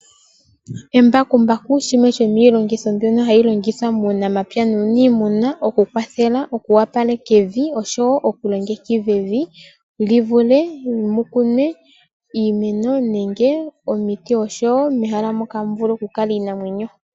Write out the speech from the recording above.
Embakumbaku shimwe shomiilongitho mbyono hayi longithwa muunamapya nuuniimuna. Oku kwathela, oku opaleka evi nosho woo okulongekidha evi livule okukunwa iimeno nenge omiti osho woo mehala moka hamu vulu okukala iinamwenyo.